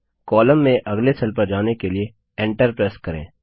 column में अगले cell पर जाने के लिए Enter प्रेस करें